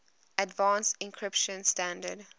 advanced encryption standard